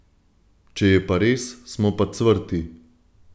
Če je pa res, smo pa cvrti!